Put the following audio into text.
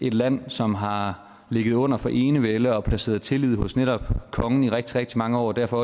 et land som har ligget under for enevælde og placeret tillid hos netop kongen i rigtig rigtig mange år og derfor